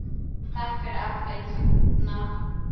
Takk fyrir alla ísana.